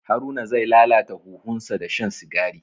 Haruna zai lalata huhunsa da shan sigari.